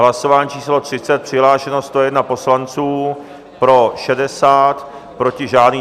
Hlasování číslo 30, přihlášeno 101 poslanců, pro 60, proti žádný.